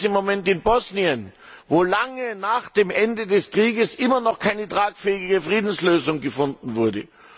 Wir sehen das im Moment in Bosnien, wo lange nach dem Ende des Krieges immer noch keine tragfähige Friedenslösung gefunden wurde.